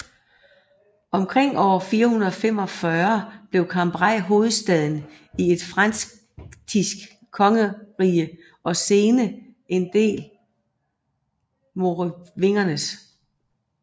Omkring år 445 blev Cambrai hovedstad i et frankisk kongerige og sene en del Merovingernes